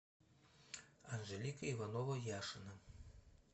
анжелика иванова яшина